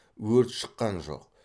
өрт шыққан жоқ